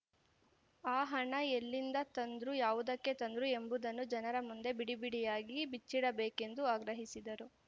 ಆ ಹಣ ಎಲ್ಲಿಂದ ತಂದ್ರು ಯಾವುದಕ್ಕೆ ತಂದ್ರು ಎಂಬುದನ್ನು ಜನರ ಮುಂದೆ ಬಿಡಿ ಬಿಡಿಯಾಗಿ ಬಿಚ್ಚಿಡಬೇಕೆಂದು ಆಗ್ರಹಿಸಿದರು